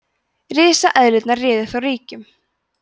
risaeðlurnar réðu þá ríkjum